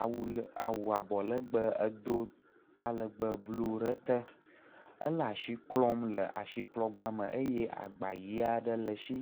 awu awu abɔ legbẽ edo talẽgbe blu ɖe ete. Ele asi klɔm le asiklɔgba me eye agba ʋi aɖe le esi.